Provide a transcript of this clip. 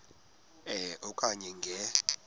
e okanye nge